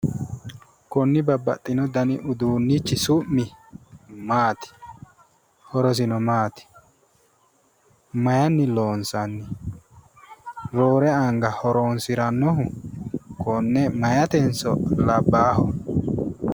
Konni babbaxino dani uduunnichi su'mi maati? horosino maati? Maayiinni loonsanni? roore anga konne horoonsirannohu meyaatenso labbaaho?